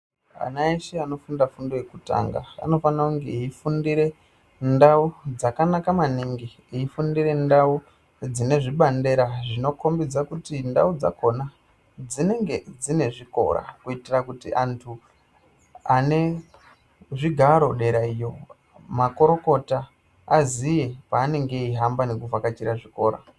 Ana eshe anofunda fundo yekutanga anofana kunge eifundire ndau dzakanaka maningi eifundire ndau dzine zvibandera zvinokombidze kuti ndau dzakona dzinenge dzine zvikora kuitira kuti antu ane zvigaro dera iyo makurukota aziye paanenge eihamba nekuvhakachira zvikora.